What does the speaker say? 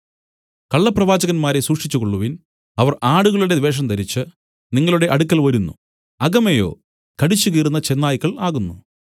കള്ളപ്രവാചകന്മാരെ സൂക്ഷിച്ചുകൊള്ളുവിൻ അവർ ആടുകളുടെ വേഷം ധരിച്ചു നിങ്ങളുടെ അടുക്കൽ വരുന്നു അകമെയോ കടിച്ചുകീറുന്ന ചെന്നായ്ക്കൾ ആകുന്നു